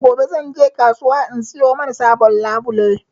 Gobe zan shiga kasuwa na siyo mana sabon labule